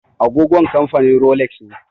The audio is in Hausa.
Agogon kamfanin Rolex ne.